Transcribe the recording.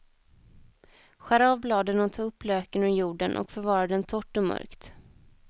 Skär av bladen och ta upp löken ur jorden och förvara den torrt och mörkt.